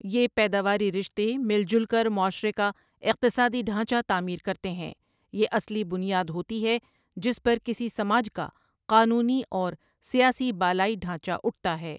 یہ پیداواری رشتے مل جل کر معاشر ے کا اقتصادی ڈھانچہ تعمیر کرتے ہیں یہ اصلی بنیاد ہوتی ہے جس پر کسی سماج کا قانونی اورو سیاسی بالائی ڈھانچہ اُٹھتا ہے ۔